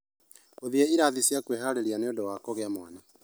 Gũthiĩ irathi cia kwĩharĩrĩria nĩ ũndũ wa kũgia mwana.